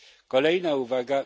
Kolejna uwaga.